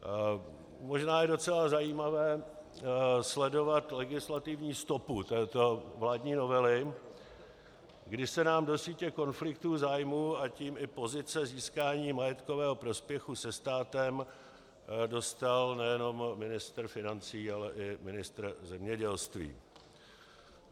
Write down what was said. Možná je docela zajímavé sledovat legislativní stopu této vládní novely, kdy se nám do sítě konfliktů zájmů, a tím i pozice získání majetkového prospěchu se státem dostal nejenom ministr financí, ale i ministr zemědělství.